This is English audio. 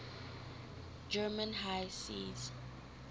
german high seas